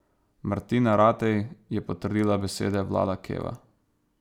Martina Ratej je potrdila besede Vlada Keva.